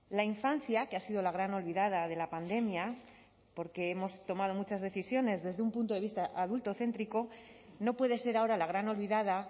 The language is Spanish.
la infancia que ha sido la gran olvidada de la pandemia porque hemos tomado muchas decisiones desde un punto de vista adultocéntrico no puede ser ahora la gran olvidada